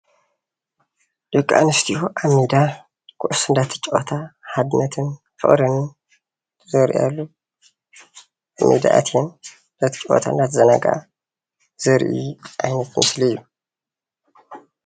ደቂ ኣነስትዮ ኣብ ሜዳ ኩዕሶ እንዳተጫወታ ሓድነትን ፍቅርን ዘርእያሉ ኣብ ሜዳ ኣተየን እንዳተጫወታ እንዳተዛናገዓ ዘርኢ ዓይነት ምስሊ እዩ፡፡